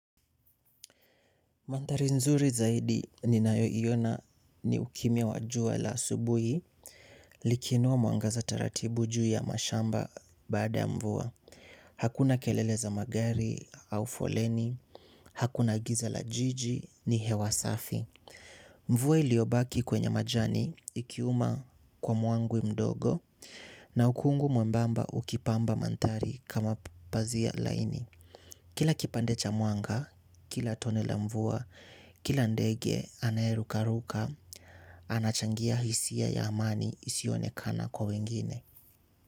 Maandhari nzuri zaidi ninayoiona ni ukimya wa jua la asubuhi liki inua mwangaza taratibu juu ya mashamba baada ya mvua. Hakuna kelele za magari au foleni, hakuna giza la jiji ni hewasafi. Mvua iliyobaki kwenye majani ikiuma kwa mwangwi mdogo na ukungu mwembamba ukipamba maandhari kama pazia laini. Kila kipande cha mwanga, kila tone la mvua, kila ndege anayeruka ruka, anachangia hisia ya amani isiyo onekana kwa wengine.